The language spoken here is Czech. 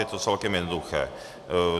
Je to celkem jednoduché.